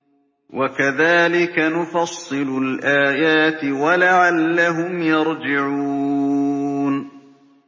وَكَذَٰلِكَ نُفَصِّلُ الْآيَاتِ وَلَعَلَّهُمْ يَرْجِعُونَ